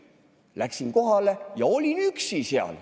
Läksin kohale ja olin seal üksi.